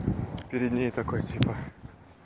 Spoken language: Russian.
перед ней такой типа